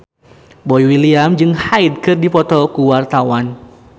Boy William jeung Hyde keur dipoto ku wartawan